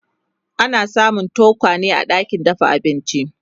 ana samun tokwane a ɗakin dafa abinci